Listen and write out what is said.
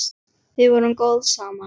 Við vorum góð saman.